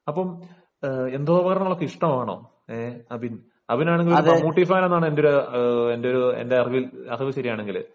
അപ്പം യന്ത്രോപകരണങ്ങൾ ഒക്കെ ഇഷ്ടമാണോ അബിൻ . അബിൻ ആണെങ്കിൽ ഒരു മമ്മൂട്ടി ഫാൻ ആണെന്നാണ് എന്റെ അറിവ് ശരിയാണെങ്കിൽ